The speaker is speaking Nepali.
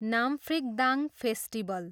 नाम्फ्रिकदाङ फेस्टिबल।